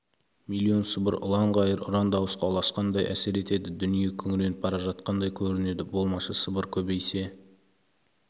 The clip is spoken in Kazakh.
миллион сыбыр ұлан-ғайыр ұран дауысқа ұласқандай әсер етеді дүние күңіреніп бара жатқандай көрінеді болмашы сыбыр көбейсе